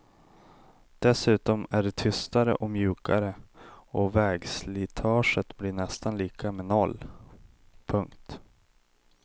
Dessutom är de tystare och mjukare och vägslitaget blir nästan lika med noll. punkt